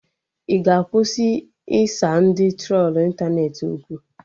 Ị ga-akwụsị ịsa ndị trolu ịntanetị okwu?